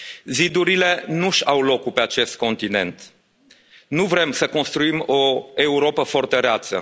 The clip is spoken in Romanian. Zidurile nu și au locul pe acest continent, nu vrem să construim o Europă fortăreață.